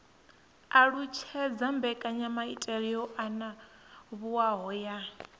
alutshedza mbekanyamaitele yo anavhuwaho ya